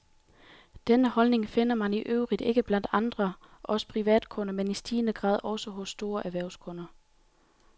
Denne holdning finder man i øvrigt ikke blot blandt os privatkunder, men i stigende grad også hos store erhvervskunder.